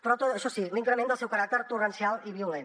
però això sí l’increment del seu caràcter torrencial i violent